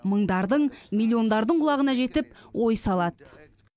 мыңдардың миллиондардың құлағына жетіп ой салады